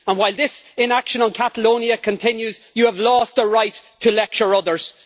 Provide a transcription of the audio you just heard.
While this inaction on Catalonia continues, you have lost the right to lecture others.